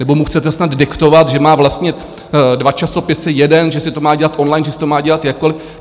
Nebo mu chcete snad diktovat, že má vlastnit dva časopisy, jeden, že si to má dělat online, že si to má dělat jakkoliv?